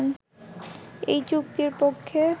এই চুক্তির পক্ষে